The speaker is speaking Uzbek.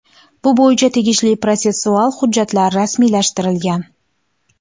Bu bo‘yicha tegishli protsessual hujjatlar rasmiylashtirilgan.